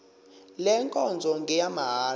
le nkonzo ngeyamahala